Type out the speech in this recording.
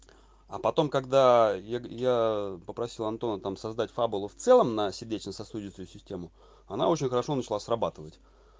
а потом когда я я попросил антона там создать фабулу в целом на сердечно-сосудистую систему она очень хорошо начала срабатывать